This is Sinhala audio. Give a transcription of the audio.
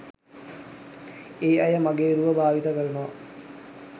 ඒ අය මගේ රුව භාවිත කරනවා.